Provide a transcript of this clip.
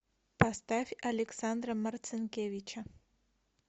поставь александра марцинкевича